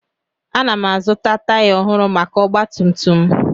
Ana m azụta taya ọhụrụ maka ọgba tum tum m